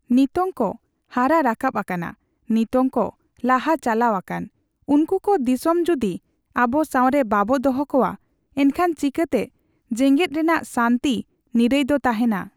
ᱱᱤᱛᱳᱝ ᱠᱚ ᱦᱟᱨᱟ ᱨᱟᱠᱟᱵ ᱟᱠᱟᱱᱟ, ᱱᱤᱛᱳᱝ ᱠᱚ ᱞᱟᱦᱟ ᱪᱟᱞᱟᱣ ᱟᱠᱟᱱ᱾ ᱩᱱᱠᱩ ᱠᱚ ᱫᱤᱥᱚᱢ ᱡᱩᱫᱤ ᱟᱵᱚ ᱥᱟᱣᱨᱮ ᱵᱟᱵᱚ ᱫᱚᱦᱚ ᱠᱚᱣᱟ, ᱮᱱᱠᱷᱟᱱ ᱪᱤᱠᱟᱹᱛᱮ ᱡᱮᱜᱮᱫ ᱨᱮᱱᱟᱜ ᱥᱟᱱᱛᱤ, ᱱᱤᱨᱟᱹᱭ ᱫᱚ ᱛᱟᱦᱮᱱᱟ᱾